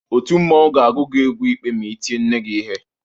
Òtù mmọnwụ ga-agụ gị egwu ikpe ma i tie nne gị ihe.